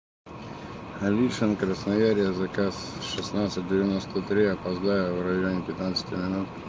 алисион красноярия заказ шеснадцать девяносто три опоздаю в районе пятнадцати минут